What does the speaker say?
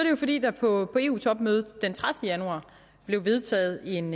jo fordi der på eu topmødet den tredivete januar blev vedtaget en